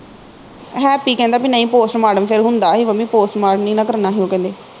happy ਕਹਿੰਦਾ ਬਈ ਨਹੀ ਪੋਸਟ ਮਾਰਟਮ ਫਿਰ ਹੁੰਦਾ ਹੀ ਮੰਮੀ ਪੋਸਟ ਮਾਰਟਮ ਨਹੀ ਨਾ ਕਰਨਾ ਹੀ ਉਹ ਕਹਿੰਦੇ